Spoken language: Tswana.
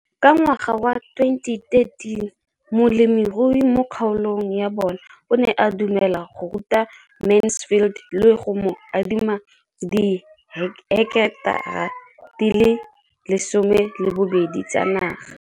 Ka ngwaga wa 2013, molemirui mo kgaolong ya bona o ne a dumela go ruta Mansfield le go mo adima di heketara di le 12 tsa naga.